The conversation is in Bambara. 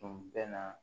Tun bɛ na